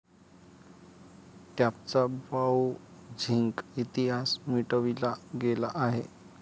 टॅबचा browsing इतिहास मिटविला गेला आहे.